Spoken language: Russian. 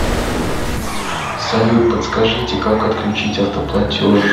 салют подскажите как отключить автоплатеж